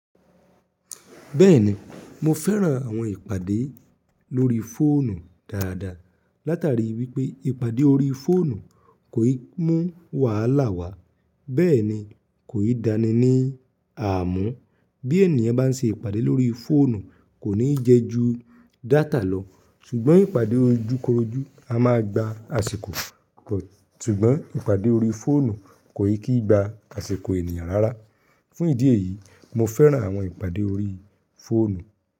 Bẹ́ẹ̀ni, mo fẹ́ran àwọn ìpàdé lórí fóònù dáadáa, látari wípé ìpàdé orí fóònù kò í mú wàhálà wá. Bẹ́ẹ̀ni, kò í dani ní àmúù. Bí ènìyàn bá n se ìpàdé lórí fóònù, kò ní jẹ́ ju data lọ, ṣùgbọ́n ìpàdé ojúkorojú a máa gba àsìkò, ṣùgbọ́n ìpàdé orí fóònù kò ì kii gba àsìkò ènìyàn rárá. Fún ìdí èyí, mo fẹ́ran àwọn ìpàdé orí fóònù.